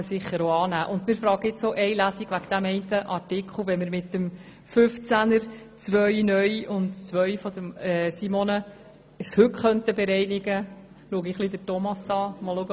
Wir stellen uns auch bezüglich der Durchführung von nur einer Lesung wegen des einen Artikels die Frage, ob mit den Anträgen zu Artikel 15 und zu Artikel 15 Absatz 2 (neu) heute eine Bereinigung erreicht werden kann.